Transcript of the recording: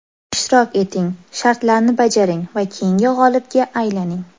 Ishtirok eting, shartlarni bajaring va keyingi g‘olibga aylaning.